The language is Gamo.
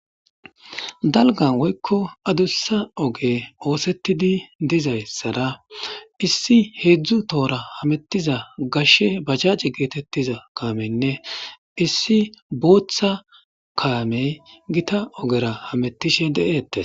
Dalgan woykko adussa oge oosetidi dizayssara issi heedzdzu toora hamettiza gashshe bacace geetettiza kaameynne issi booththa kaamey gita ogera hamettishe de7eettes